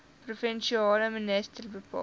provinsiale minister bepaal